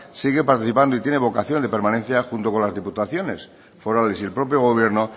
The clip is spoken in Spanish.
sigue participando y tiene vocación de permanencia junto con las diputaciones forales y el propio gobierno